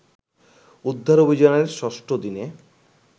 উদ্ধার অভিযানের ৬ষ্ঠ দিনে